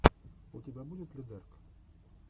у тебя будет лидэрк